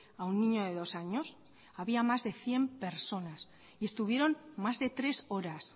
a un niño de dos años había más de cien personas y estuvieron más de tres horas